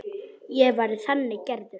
Ég væri þannig gerður.